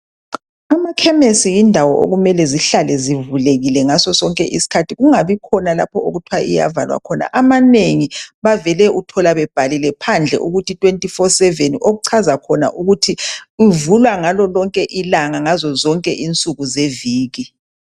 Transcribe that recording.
Amakhemisi yindawo okumele zihlale zivulekile ngaso sonke isikhathi kungabikhona lapho okuthwa iyavalwa khona amanengi bavele uthola bebhalile phandle ukuthi 24/7 okuchaza khona ukuthi ivulwa ngalo lonke ilanga ngazo zonke insuku zeviki.